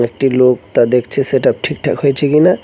একটি লোক তা দেখছে সেটা ঠিকঠাক হয়েছে কিনা।